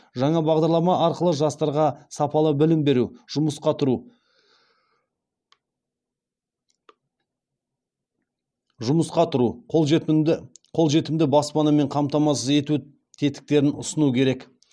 жаңа бағдарлама арқылы жастарға сапалы білім беру жұмысқа тұру қолжетімді баспанамен қамтамасыз ету тетіктерін ұсыну керек